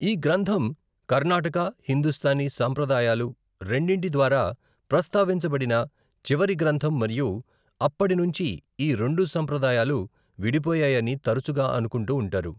ఈ గ్రంథం కర్ణాటక, హిందుస్తానీ సంప్రదాయాలు రెండింటి ద్వారా ప్రస్తావించబడిన చివరి గ్రంథం మరియు అప్పడినుంచి ఈ రెండు సంప్రదాయాలు విడిపోయాయని తరచుగా అనుకుంటూ ఉంటారు.